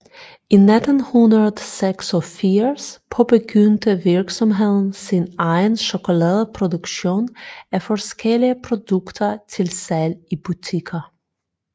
I 1986 påbegyndte virksomheden sin egen chokoladeproduktion af forskellige produkter til salg i butikker